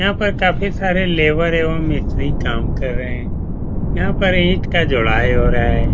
यहाँ पर काफ़ी सारे लेबर एवं मिस्त्री काम कर रहे हैं। यहाँ पर ईट का जुड़ाई हो रहा है।